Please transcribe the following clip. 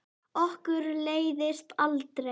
Okkur leiðist aldrei!